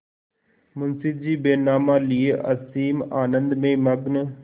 मुंशीजी बैनामा लिये असीम आनंद में मग्न